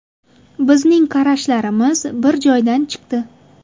Bizning qarashlarimiz bir joydan chiqdi.